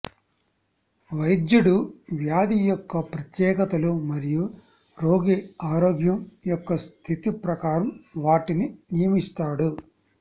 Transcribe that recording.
వైద్యుడు వ్యాధి యొక్క ప్రత్యేకతలు మరియు రోగి ఆరోగ్యం యొక్క స్థితి ప్రకారం వాటిని నియమిస్తాడు